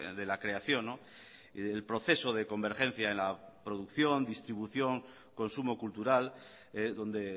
de la creación y del proceso de convergencia en la producción distribución consumo cultural donde